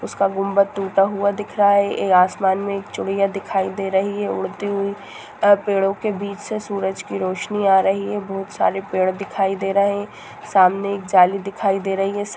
उसका गुम्मद टूटा हुआ दिख रहा है ये आसमान में एक चुडिया दिखाई दे रही है उड़ती हुई पेड़ो के बीच से सुरज की रोशनी आ रही है बोहत सारे पेड़ दिखाई दे रहे है सामने एक जाली दिखाई दे रही है।